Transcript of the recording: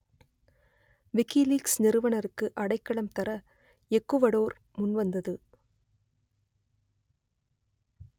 WikiLeaks நிறுவனருக்கு அடைக்கலம் தர எக்குவடோர் முன்வந்தது